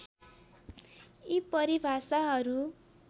यी परिभाषाहरू